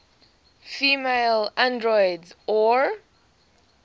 female androids or